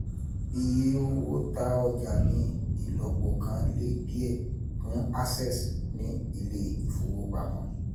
Ìye owó ta ọjà ní ìlọ́po kan le díẹ̀ fún Access ní ilé ìfowópamọ́